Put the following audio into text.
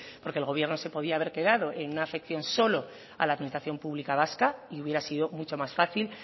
porque el gobierno se podía haber quedado en una afección solo a la administración pública vasca y hubiera sido mucho más fácil